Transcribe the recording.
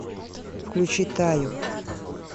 включи таю